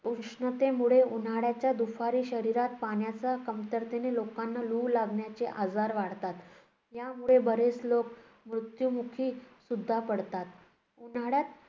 उष्णतेमुळे उन्हाळ्याच्या दुपारी शरीरात पाण्याच्या कमतरतेने लोकांना लू लागल्याचे आजार वाढतात. यामुळे बरेच लोक मृत्युमुखीसुद्धा पडतात. उन्हाळ्यात